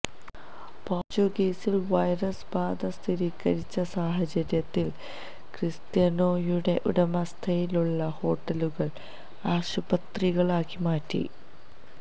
പോര്ച്ചുഗലില് virus ബാധ സ്ഥിരീകരിച്ച സാഹചര്യത്തില് ക്രിസ്റ്റ്യാനോയുടെ ഉടമസ്ഥതയിലുള്ള ഹോട്ടലുകള് ആശുപത്രികളാക്കി മാറ്റി